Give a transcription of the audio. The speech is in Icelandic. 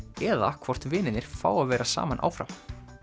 eða hvort vinirnir fá að vera saman áfram